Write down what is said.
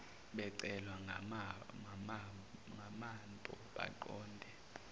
becelwa ngamanpo baqonde